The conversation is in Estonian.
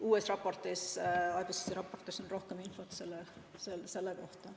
Uues IPCC raportis on rohkem infot selle kohta.